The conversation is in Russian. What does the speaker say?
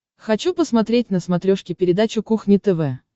хочу посмотреть на смотрешке передачу кухня тв